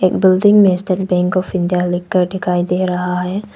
Building में State Bank of India लिखकर दिखाई दे रहा है।